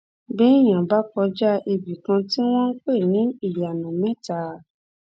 béèyàn bá kọjá ibì kan tí wọn ń pè ní iyanamẹta